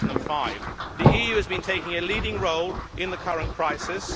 2005. The EU has been taking a leading role in the current crisis.